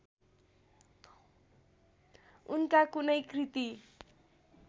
उनका कुनै कृति